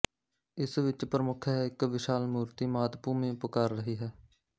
ਇਸ ਵਿੱਚ ਪ੍ਰਮੁੱਖ ਹੈ ਇੱਕ ਵਿਸ਼ਾਲ ਮੂਰਤੀ ਮਾਤਭੂਮੀ ਪੁਕਾਰ ਰਹੀ ਹੈ